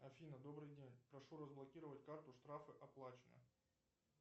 афина добрый день прошу разблокировать карту штрафы оплачены